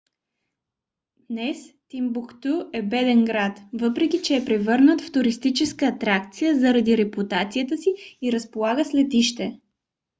днес тимбукту е беден град въпреки че е превърнат в туристическа атракция заради репутацията си и разполага с летище